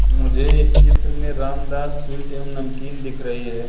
मुझे इस चित्र में रामदास स्वीट एवं नमकीन दिख रही है।